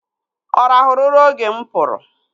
Ọ rahụru ụra oge mụ pụrụ?